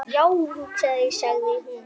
Já sagði hún.